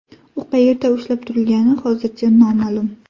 U qayerda ushlab turilgani hozircha noma’lum.